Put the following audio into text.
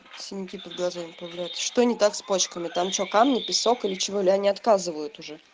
синяки под глазами появляются что не так с пачками там что камни песок или чего ли они отказывают уже